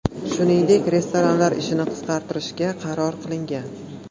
Shuningdek, restoranlar ishini qisqartirishga qaror qilingan.